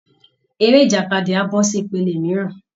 Eré ìjàkadì á bọ́ sí ìpele mìíràn